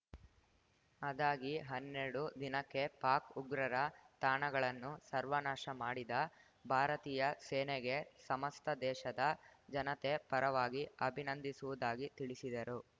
ಅದಾಗಿ ಹನ್ನೆರಡು ದಿನಕ್ಕೆ ಪಾಕ್‌ ಉಗ್ರರ ತಾಣಗಳನ್ನು ಸರ್ವನಾಶ ಮಾಡಿದ ಭಾರತೀಯ ಸೇನೆಗೆ ಸಮಸ್ತ ದೇಶದ ಜನತೆ ಪರವಾಗಿ ಅಭಿನಂದಿಸುವುದಾಗಿ ತಿಳಿಸಿದರು